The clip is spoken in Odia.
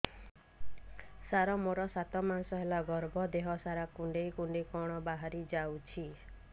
ସାର ମୋର ସାତ ମାସ ହେଲା ଗର୍ଭ ଦେହ ସାରା କୁଂଡେଇ କୁଂଡେଇ କଣ ବାହାରି ଯାଉଛି